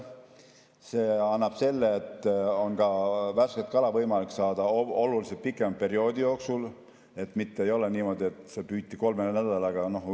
See annab selle, et värsket kala on võimalik saada oluliselt pikema perioodi jooksul, mitte ei ole niimoodi, et see püüti ära kolme nädalaga.